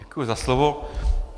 Děkuji za slovo.